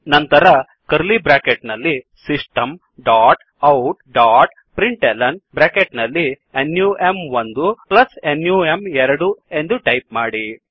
ನಂತರ curly bracket ನಲ್ಲಿ system dot out dot println num1ನಮ್2 ಎಂದು ಟೈಪ್ ಮಾಡಿ